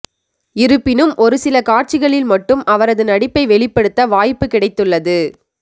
இருப்பினும் ஒரு சில காட்சிகளில் மட்டும் அவரது நடிப்பை வெளிப்படுத்த வாய்ப்பு கிடைத்துள்ளது